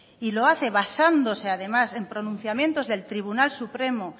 y lo hace basándose además en pronunciamientos del tribunal supremo